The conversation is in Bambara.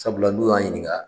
Sabula n'o y'an ɲininga